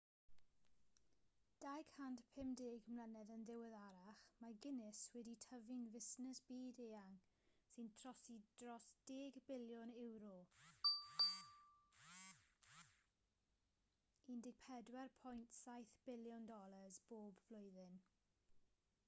250 mlynedd yn ddiweddarach mae guinness wedi tyfu'n fusnes byd-eang sy'n trosi dros 10 biliwn ewro ud $14.7 biliwn bob blwyddyn